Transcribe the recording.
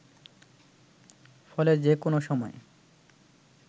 ফলে যে কোন সময়